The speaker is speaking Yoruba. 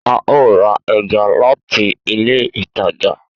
A o ra ẹja láti ilé ìtajà